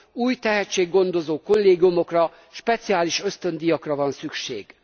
Új tehetséggondozó kollégiumokra, speciális ösztöndíjakra van szükség.